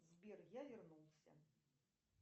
сбер я вернулся